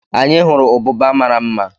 Anyị hụrụ ụbụba mara mma